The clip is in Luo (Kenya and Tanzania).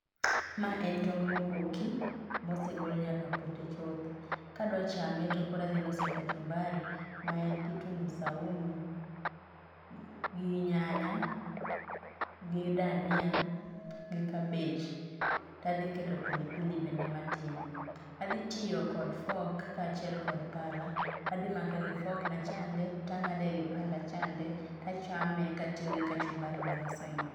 maen tong moboki mosegol nyaka pote chuth kadwa chame tokoradhiloso kachumbari maen kitungu saumu gi nyanya gi dania gi cabbbage tadhiketo pilipili bende matin adhi tiyo kod fork kaachiel kod pala adhi make gi fork nachande tangade gi panda chande tachame katiyo gi kachumbari maloso ni